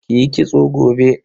Ki yi kitso gobe.